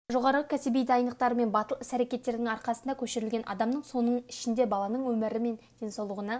жоғары кәсіби дайындықтары мен батыл іс-әрекеттерінің арқасында көшірілген адамның соның ішінде баланың өмірі мен денсаулығына